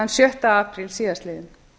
sjötta apríl síðastliðinn